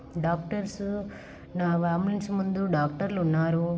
Doctors ambulance ముందు doctors ఉన్నారు.